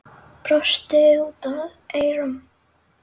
Brosti út að eyrum.